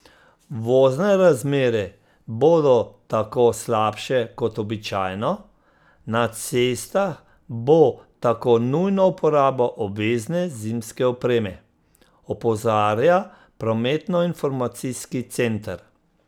Vozne razmere bodo tako slabše kot običajno, na cestah bo tako nujna uporaba obvezne zimske opreme, opozarja prometnoinformacijski center.